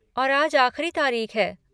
और आज आख़िरी तारीख़ है।